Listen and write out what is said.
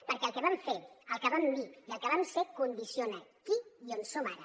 perquè el que vam fer el que vam dir i el que vam ser condiciona qui i on som ara